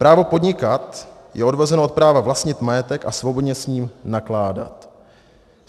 Právo podnikat je odvozeno od práva vlastnit majetek a svobodně s ním nakládat.